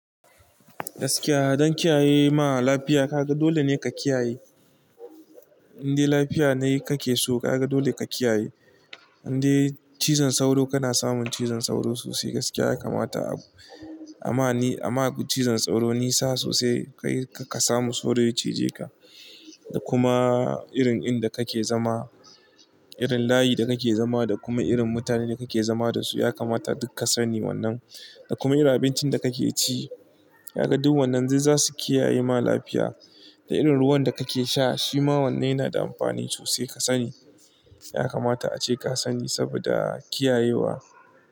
Gaskiya don kiyaye ma lafiya kaga dole ne ka kiyaye. Inde lafiya ne kake so kaga dole ka kiyaye. Inde cizon sauro kana samun cizon sauro sosai gaskiya ya kamata amma abun cizon sauro nisa sosai. Kayi kar ka samu sauro ya cije ka. Da kuma irin inda kake zama, irin layi da kake zama da kuma irin mutanen da kake zama dasu ya kamata duk ka sani wannan. Da kuma irin abincin da kake ci, ka ga duk wannan zai, za su kiyaye ma lafiya. Da irin ruwan da kake sha shima wanne yana da amfani sosai ka sani. Ya kamata ace ka sani saboda kiyayewa.